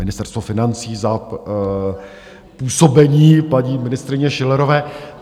Ministerstvo financí za působení paní ministryně Schillerové...